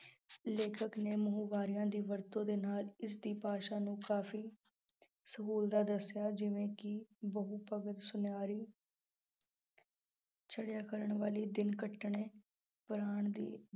ਲੇਖਕ ਨੇ ਮੁਹਾਵਰਿਆਂ ਦੀ ਵਰਤੋਂ ਦੇ ਨਾਲ ਇਸਦੀ ਭਾਸ਼ਾ ਨੂੰ ਕਾਫੀ ਦੱਸਿਆ ਜਿਵੇਂ ਕਿ ਸੁਨਿਆਰੀ ਦਿਨ ਕੱਟਣੇ